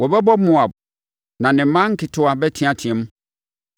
Wɔbɛbɔ Moab: na ne mma nketewa bɛteateam.